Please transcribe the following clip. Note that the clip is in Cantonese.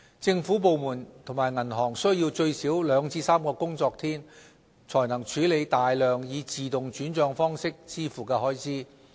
政府部門及銀行需要最少兩至3個工作天，才能處理大量以自動轉帳方式支付的開支。